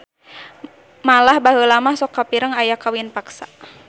Malah baheula mah sok kapireng aya kawin paksa.